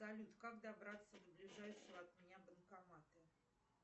салют как добраться до ближайшего от меня банкомата